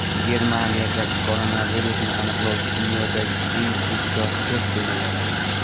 Germaniyada koronavirusni aniqlovchi dunyodagi eng tezkor test tizimi yaratildi.